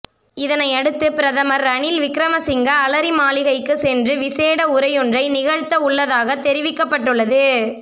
இதனையடுத்து பிரதமர் ரணில் விக்ரமசிங்க அலரிமாளிகைக்கு சென்று விசேட உரையொன்றை நிகழ்த்தவுள்ளதாக தெரிவவிக்கப்பட்டுள்ளது